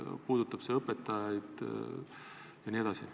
See puudutab õpetajaid jne.